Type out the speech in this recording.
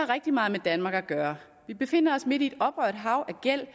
rigtig meget med danmark at gøre vi befinder os midt i et oprørt hav af gæld